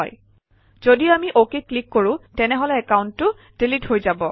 যদি আমি অকেত ক্লিক কৰোঁ তেনেহলে একাউণ্টটো ডিলিট হৈ যাব